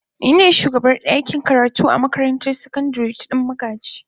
Ni ne shugabar dakin karatu a makarantar sakandare ta Dan magaji.